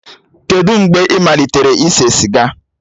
Kedụ mgbe ị malitere ise siga?